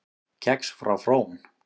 Kex frá Frón